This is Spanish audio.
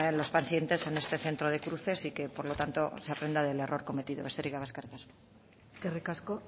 los pacientes en este centro de cruces y que por lo tanto se aprenda del error cometido besterik gabe eskerrik asko eskerrik asko